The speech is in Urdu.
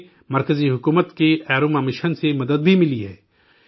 انہیں مرکزی حکومت کے ایروما مشن سے مدد بھی ملی ہے